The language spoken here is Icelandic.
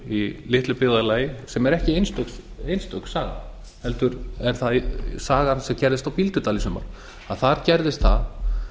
í litlu byggðarlagi sem er ekki einstök saga heldur er það sagan sem gerðist á bíldudal í sumar en þar gerðist það